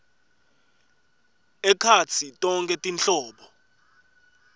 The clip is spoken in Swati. ekhatsi tonkhe tinhlobo